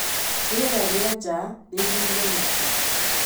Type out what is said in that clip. rĩera rĩa nja rĩiyũire matu